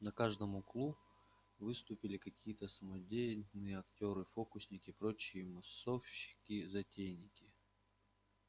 на каждом углу выступили какие-то самодеятельные актёры фокусники прочие массовщики-затейники